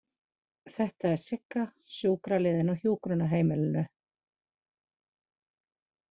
Þetta er Sigga, sjúkraliðinn á hjúkrunarheimilinu.